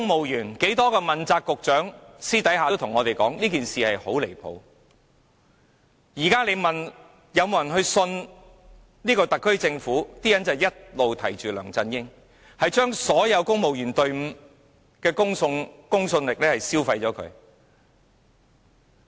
如果現時有人問：你們相信特區政府嗎？大家都會提起梁振英，他將公務員隊伍的公信力消磨殆盡。